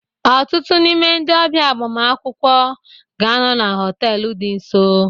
Ọtụtụ n'ime ndị ọbịa agbamakwụkwọ ga-anọ na họtel dị nso